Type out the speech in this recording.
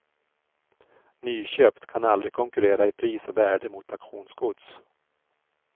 Nyköpt kan aldrig konkurrera i pris och värde mot auktionsgods.